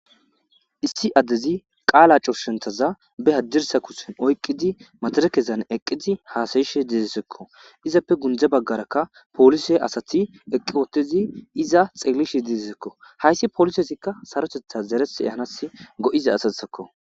issi addezi qaala curshenthaza be haddirsa kusen oyqqidi materekezan eqqidi haasayishe deedesekko izappe gundza baggaraka polise asati eqqi wottezi iza xeelishe deedissekko hayssi polisezikka sarotetha zeresehanas go7iza asatsekko